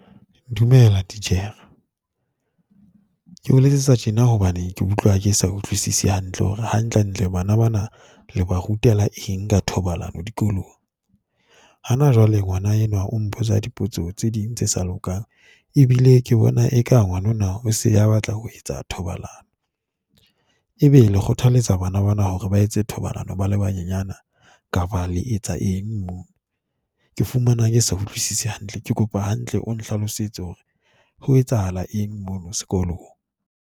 Dumela, titjhere. Ke o letsetsa tjena hobane ke utlwa ke sa utlwisise hantle hore hantlentle bana bana le ba rutela eng ka thobalano dikolong. Hana jwale ngwana enwa o mpotsa dipotso tse ding tse sa lokang, ebile ke bona eka ngwanona o se a batla ho etsa thobalano, ebe le kgothalletsa bana bana hore ba etse thobalano ba le banyenyana kapa le etsa eng mono? Ke fumana ke sa utlwisise hantle, ke kopa hantle o nhlalosetse hore ho etsahala eng mono sekolong.